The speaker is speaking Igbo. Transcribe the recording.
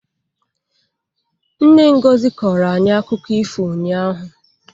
Nne Ngozi koora anyị akụkọ ifo ụnyahụ.